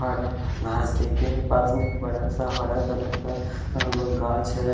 बड़ा नाजदे के पास में एक हरा कलर का अ गांछ है।